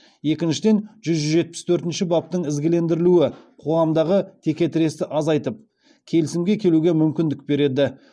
екіншіден жүз жетпіс төртінші баптың ізгілендірілуі қоғамдағы теке тіресті азайтып келісімге келуге мүмкіндік береді